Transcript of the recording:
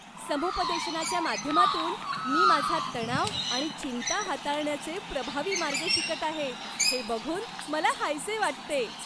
समुपदेशनाच्या माध्यमातून मी माझा तणाव आणि चिंता हाताळण्याचे प्रभावी मार्ग शिकत आहे हे बघून मला हायसे वाटते.